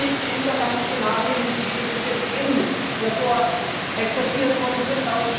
Ich teile nicht die Untergangsszenarien, die uns jetzt eben hier vorexerziert worden sind.